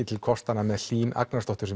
til kostanna með Hlín Agnarsdóttur